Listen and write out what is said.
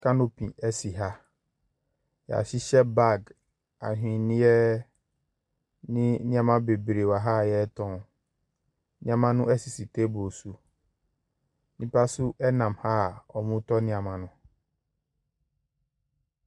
Kanopi ɛsi ha. Y'ahyehyɛ baag, ahweneɛ ne nneɛma bebree waha a yɛɛtɔn. Nneɛma no sisi teebol so. Nnipa so ɛnam a ɔɔmo tɔ nneɛma no.